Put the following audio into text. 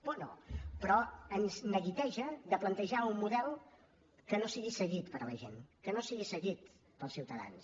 por no però ens neguiteja plantejar un model que no sigui seguit per la gent que no sigui seguit pels ciutadans